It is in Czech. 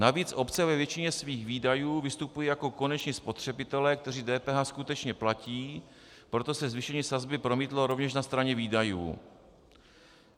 Navíc obce ve většině svých výdajů vystupují jako koneční spotřebitelé, kteří DPH skutečně platí, proto se zvýšení sazby promítlo rovněž na straně výdajů.